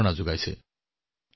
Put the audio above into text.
তেওঁলোকে আশ্চৰ্যকৰ কাম কৰা নাই নে